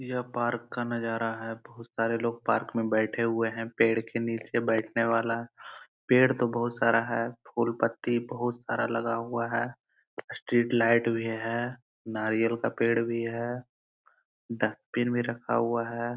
यह पार्क का नजारा है बहुत सारे लोग पार्क मैं बैठे हुए है पेड़ के नीचे बैठने वाला पेड़ तो बहुत सारा है फुल पत्ती बहुत सारा लगा हुआ है स्ट्रीट लाइट भी है नारियल का पेड़ भी है डस्टबिन भी रखा हुआ है।